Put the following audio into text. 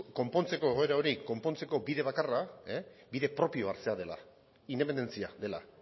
konpontzeko egoera hori konpontzeko bide bakarra bide propioa hartzea dela independentzia dela